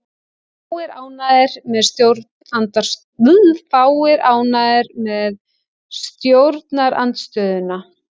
Fáir ánægðir með stjórnarandstöðuna